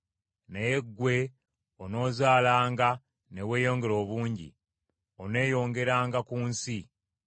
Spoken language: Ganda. Naye ggwe onoozaalanga ne weeyongera obungi. Oneeyongeranga ku nsi.”